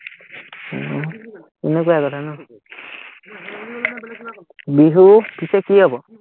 উহ এনেকুৱাই কথা ন, বিহু পিছে কি হ'ব?